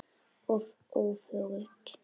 Og öfugt.